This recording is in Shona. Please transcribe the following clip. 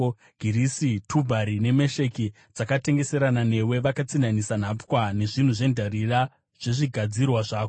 “ ‘Girisi, Tubhari neMesheki dzakatengeserana newe; vakatsinhanisa nhapwa nezvinhu zvendarira zvezvigadzirwa zvako.